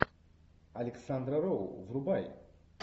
александра роу врубай